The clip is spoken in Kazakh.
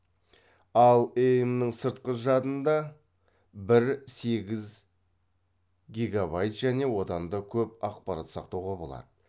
ал эем нің сыртқы жадында бір сегіз гигабайт және одан да көп ақпарат сақтауға болады